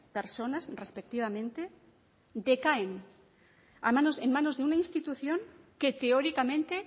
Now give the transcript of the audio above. personas respectivamente decaen en manos de una institución que teóricamente